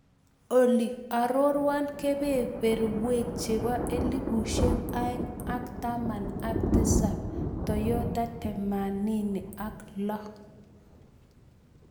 Olly aroruan Kebeeberweek chepo elibusiek aeng' ak taman ak tisap toyota themanini ak loo